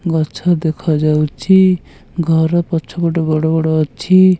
ଗଛ ଦେଖାଯାଉଛି ଘର ପଛ ପଟେ ବଡ଼ ବଡ଼ ଅଛି।